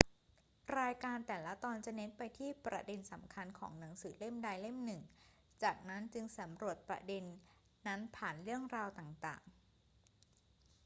รายการแต่ละตอนจะเน้นไปที่ประเด็นสำคัญของหนังสือเล่มใดเล่มหนึ่ง จากนั้นจึงสำรวจประเด็นนั้นผ่านเรื่องราวต่าง ๆ